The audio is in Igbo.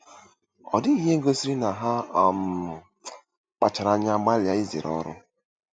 Ọ dịghị ihe gosiri na ha um kpachaara anya gbalịa izere ọrụ.